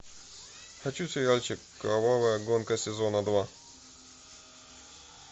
хочу сериальчик кровавая гонка сезона два